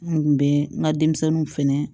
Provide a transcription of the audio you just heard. N kun bɛ n ka denmisɛnninw fɛnɛ